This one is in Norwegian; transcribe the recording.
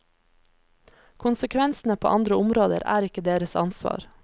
Konsekvensene på andre områder er ikke deres ansvar.